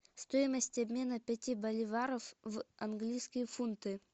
стоимость обмена пяти боливаров в английские фунты